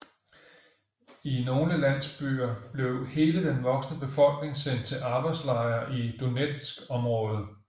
I nogle landsbyer blev hele den voksne befolkning sendt til arbejdslejre i Donetsområdet